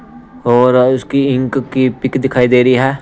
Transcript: और उसकी इंक की पिक दिखाई दे रही है।